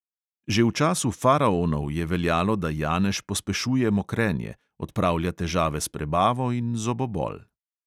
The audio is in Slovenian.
Že v času faraonov je veljalo, da janež pospešuje mokrenje, odpravlja težave s prebavo in zobobol.